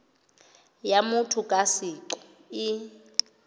ya motho ka seqo e